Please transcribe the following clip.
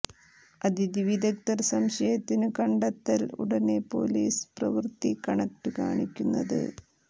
അതിഥി വിദഗ്ധർ സംശയത്തിനു് കണ്ടെത്തൽ ഉടനെ പൊലീസ് പ്രവൃത്തി കണക്ട് കാണിക്കുന്നത്